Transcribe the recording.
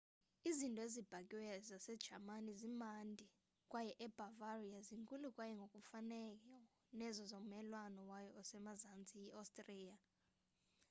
izinto ezibhakiweyo zasejamani zimnandi kwaye ebavaria zinkulu kwaye ngokufanayo nezo zommelwane wayo osemazantsi i-ostriya